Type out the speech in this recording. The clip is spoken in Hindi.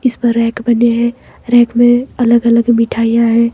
इस पर रॅक बने हैं रॅक में अलग अलग मिठाईयाँ हैं।